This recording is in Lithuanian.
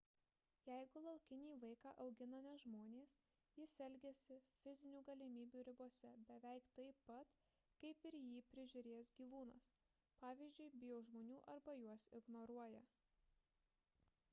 jeigu laukinį vaiką augina ne žmonės jis elgiasi fizinių galimybių ribose beveik taip pat kaip ir jį prižiūrėjęs gyvūnas pavyzdžiui bijo žmonių arba juos ignoruoja